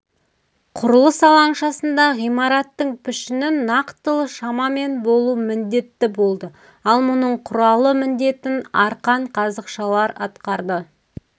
құрылыс алаңшасында ғимараттың пішінін нақтылы шамамен болу міндетті болды ал мұнын құралы міндетін арқан қазықшалар атқарды